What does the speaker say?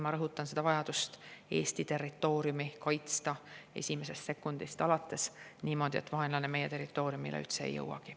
Ma rõhutan veel kord vajadust Eesti territooriumi kaitsta esimesest sekundist alates niimoodi, et vaenlane meie territooriumile üldse ei jõuagi.